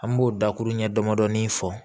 An b'o dakuru ɲɛ damadɔɔni fɔ